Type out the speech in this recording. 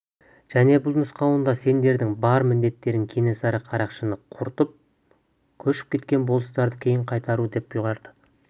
және бұл нұсқауында сендердің бар міндеттерің кенесары қарақшыны құртып көшіп кеткен болыстарды кейін қайтару деп бұйырады